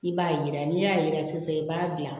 I b'a yira n'i y'a yira sisan i b'a dilan